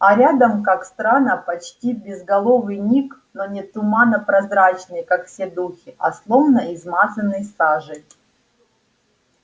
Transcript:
а рядом как странно почти безголовый ник но не туманно-прозрачный как все духи а словно измазанный сажей